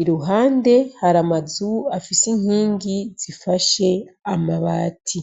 iruhande hari amazu afise inkingi zifashe amabati.